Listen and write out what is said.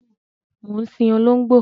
Mo ń sìn olóngbó